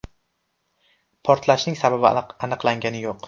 Portlashning sababi aniqlanganicha yo‘q.